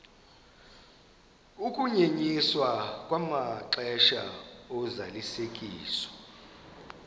ukunyenyiswa kwamaxesha ozalisekiso